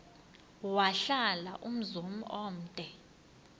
wahlala umzum omde